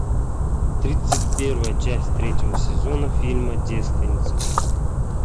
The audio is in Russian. тридцать первая часть третьего сезона фильма девственница